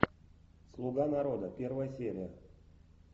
слуга народа первая серия